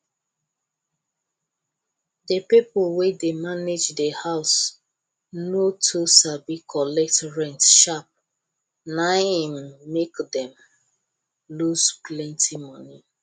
the people wey dey manage the house no too sabi collect rent sharp na im make dem lose plenty money